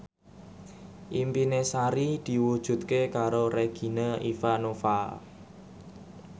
impine Sari diwujudke karo Regina Ivanova